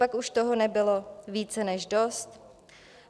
Copak už toho nebylo více než dost?